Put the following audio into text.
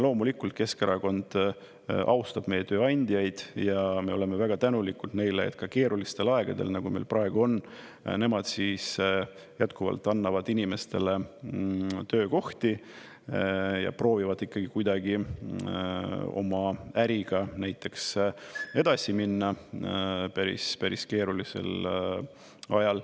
Loomulikult Keskerakond austab meie tööandjaid ja me oleme väga tänulikud neile, et ka keerulistel aegadel, nagu meil praegu on, nemad siis jätkuvalt annavad inimestele töökohti ja proovivad ikkagi kuidagi oma äriga näiteks edasi minna päris-päris keerulisel ajal.